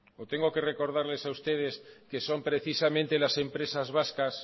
o tengo que recordarles a ustedes que son precisamente las empresas vascas